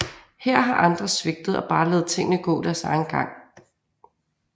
Her har andre svigtet og bare ladet tingene gå deres egen gang